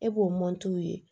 E b'o ye